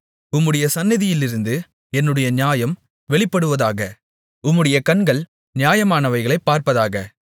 உம்முடைய சந்நிதியிலிருந்து என்னுடைய நியாயம் வெளிப்படுவதாக உம்முடைய கண்கள் நியாயமானவைகளைப் பார்ப்பதாக